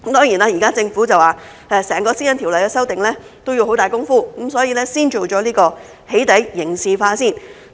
現時政府說修訂整項《私隱條例》要下很大工夫，所以先完成"起底"刑事化。